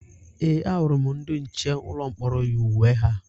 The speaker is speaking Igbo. Ee, ahụrụ m ndị nche ụlọ mkpọrọ yi uwe ha